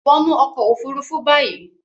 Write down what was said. wọnú ọkọ òfurufú bayí!